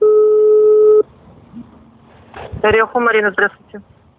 орехова марина здравствуйте